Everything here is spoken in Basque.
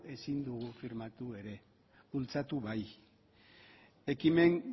ezin digu firmatu ere bultzatu bai ekimen